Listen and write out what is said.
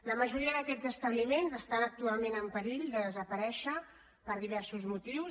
la majoria d’aquests establiments estan actualment en perill de desaparèixer per diversos motius